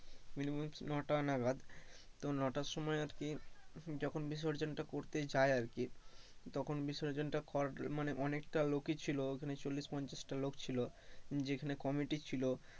নটা নাগাদ তো নটার সময় আর কি যখন বিসর্জনটা করতে যায় আরকি তখন বিসর্জনটা মানে অনেকটা লোকই ছিল, ওখানে চল্লিশ পঞ্চাশ টা লোক ছিল, যেখানে committee ছিল,